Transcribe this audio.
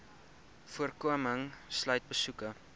voorkoming sluit besoeke